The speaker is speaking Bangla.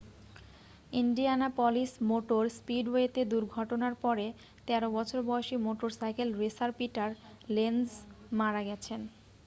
ইন্ডিয়ানাপলিস মোটর স্পিডওয়েতে দুর্ঘটনার পরে 13 বছর বয়সী মোটরসাইকেল রেসার পিটার লেনজ মারা গেছেন